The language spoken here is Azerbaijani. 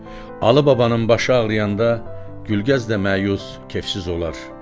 Alı babanın başı ağrıyanda Gülgəz də məyus, kefsiz olar.